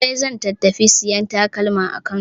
Zulai zan ta tafi sayan takalma a Kano.